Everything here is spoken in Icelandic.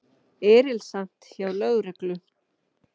Erilsamt hjá lögreglu